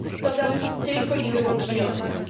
To zależy tylko i wyłącznie od nas.